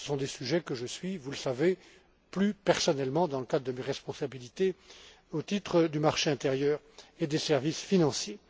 Ce sont des sujets que je suis, vous le savez, plus personnellement dans le cadre de mes responsabilités au titre du marché intérieur et des services financiers.